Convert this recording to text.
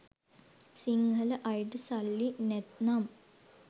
සිංහල අයට සල්ලි නැත්නම්